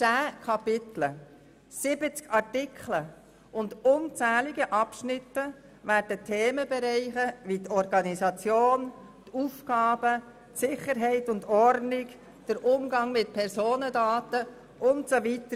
Zehn Kapitel, 70 Artikel und unzählige Abschnitte behandeln Themenbereiche wie Organisation, Aufgaben, Sicherheit und Ordnung, Umgang mit Personendaten und so weiter.